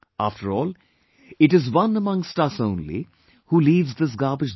After all, it is one among us only, who leaves this garbage there